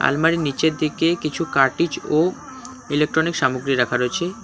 আলমারির নীচের দিকে কিছু কার্টিজ ও ইলেকট্রনিক সামগ্রী রাখা রয়েছে কা--